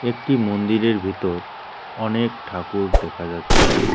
একটি মন্দিরের ভেতর অনেক ঠাকুর দেখা যাচ্ছে।